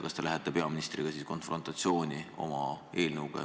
Ja kas te lähete peaministriga konfrontatsiooni oma eelnõuga?